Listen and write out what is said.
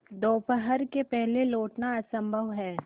दोपहर के पहले लौटना असंभव है